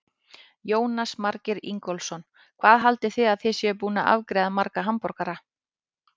Jónas Margeir Ingólfsson: Hvað haldið þið að þið séuð búin að afgreiða marga hamborgara?